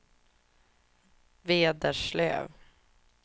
Vederslöv